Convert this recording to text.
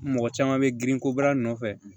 Mɔgɔ caman bɛ girinko bara nɔfɛ